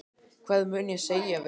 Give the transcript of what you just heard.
Hvað mun ég segja við liðið?